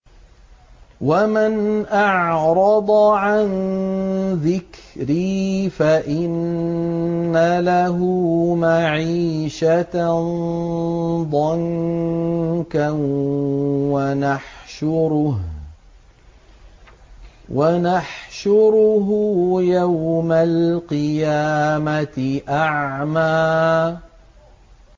وَمَنْ أَعْرَضَ عَن ذِكْرِي فَإِنَّ لَهُ مَعِيشَةً ضَنكًا وَنَحْشُرُهُ يَوْمَ الْقِيَامَةِ أَعْمَىٰ